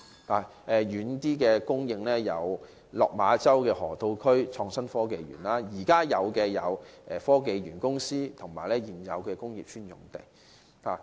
例如，較遠的供應有落馬洲河套地區港深創新及科技園，較近的有香港科技園及現有的工業邨用地。